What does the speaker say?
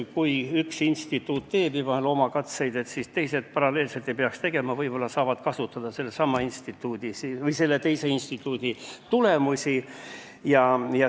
Kui üks instituut juba teeb loomkatseid, siis teised paralleelselt ei peaks tegema, vaid peaks vaatama, kas saab kasutada teise instituudi tulemusi.